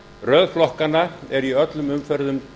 röð flokkana er í öllum umferðum